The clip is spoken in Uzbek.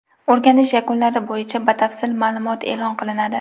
O‘rganish yakunlari bo‘yicha batafsil ma’lumot e’lon qilinadi.